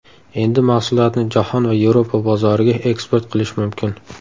Endi mahsulotni jahon va Yevropa bozoriga eksport qilish mumkin.